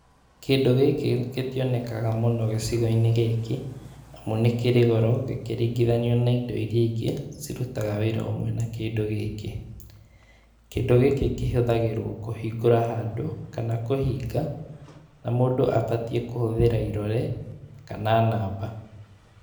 Kĩndũ gĩkĩ gĩtionekaga mũno gĩcigo-inĩ gĩkĩ, nĩkĩrĩ goro, gĩkĩringithanio na indo iria ingĩ, cirutaga wĩra hamwe na kĩndũ gĩkĩ. Kĩndũ gĩkĩ kĩhũthagĩrwo kũhingũra handũ, kana kũhinga, na mũndũ abatiĩ kũhũthĩra irore, kana namba.